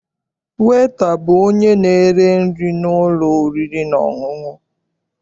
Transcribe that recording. Weta bụ onye na-ere nri n'ụlọ oriri na ọṅụṅụ.